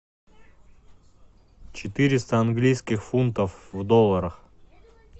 четыреста английских фунтов в долларах